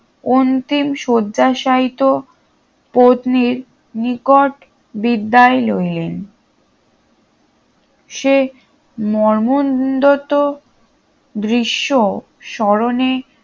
অন্তিম শয্যাশায়ীত পত্নীর নিকট বিদায় লইলেন সে মরমন্ধত দৃশ্য স্মরণে